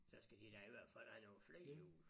Så skal de da i hvert fald have nogen flere hjul